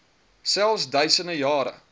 selfs duisende jare